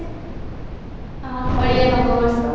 ଆଉ ଓଡିଆ ନବ ବର୍ଷ